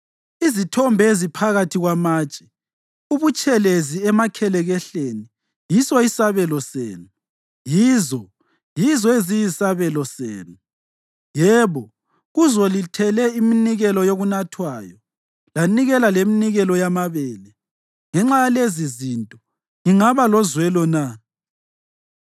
Izithombe eziphakathi kwamatshe abutshelezi emakhelekehleni yiso isabelo senu, yizo, yizo eziyisabelo senu. Yebo, kuzo lithele iminikelo yokunathwayo lanikela leminikelo yamabele. Ngenxa yalezizinto ngingaba lozwelo na?